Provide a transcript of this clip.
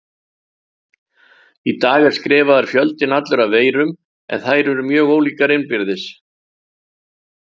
Í dag er skrifaður fjöldinn allur af veirum en þær eru mjög ólíkar innbyrðis.